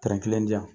kelen di yan